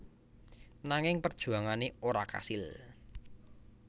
Nanging perjuangane ora kasil